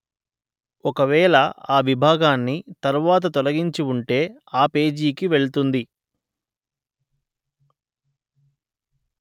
ఒకవేళ ఆ విభాగాన్ని తరువాత తొలగించి ఉంటే ఆ పేజీకి వెళ్తుంది